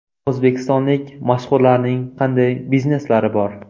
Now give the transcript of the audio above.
O‘zbekistonlik mashhurlarning qanday bizneslari bor?.